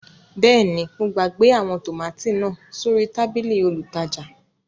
Bẹẹni, mo gbagbe awọn tomati naa sori tabili olútajà